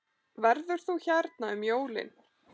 Verður þú hérna um jólin?